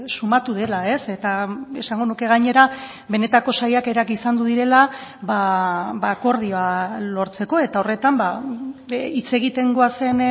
sumatu dela eta esango nuke gainera benetako saiakerak izan direla akordioa lortzeko eta horretan hitz egiten goazen